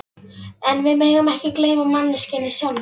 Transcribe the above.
En við megum ekki gleyma manneskjunni sjálfri.